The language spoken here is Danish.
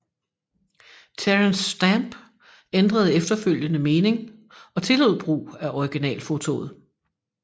Terence Stamp ændrede efterfølgende mening og tillod brug af originalfotoet